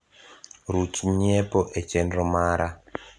ruch nyiepo e chenro mara